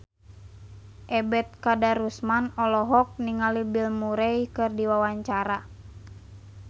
Ebet Kadarusman olohok ningali Bill Murray keur diwawancara